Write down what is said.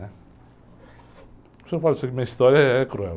O senhor fala assim que minha história é cruel.